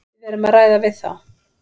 Við erum að ræða við þá.